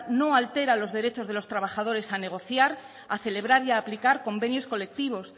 no altera los derechos de los trabajadores a negociar a celebrar y a aplicar convenios colectivos